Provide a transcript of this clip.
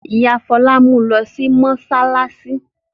Ìyá Fọlá mú u lọ sí mọ́ṣáláṣí.